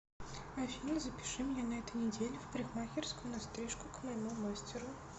афина запиши меня на этой неделе в парикмахерскую на стрижку к моему мастеру